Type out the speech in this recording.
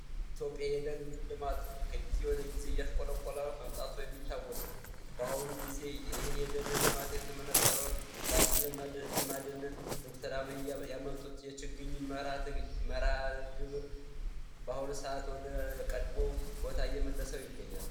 ትዮጵያ የደህን ልማት ከጊዜ ወደ ጊዜ እያሽቆለብቋላ መምጣቶ የሚታወስ ነው በአሁኑ ጊዜ ይህን የደን ልማት የተመነጠረውን ወደአግም ለማደነን ዶክተራበ ያመጡት የችግኝ መርሃት ግብር በአሁኑ ሰዓት ወደ ቀድሞው ቦታየመለሰው ይገኛል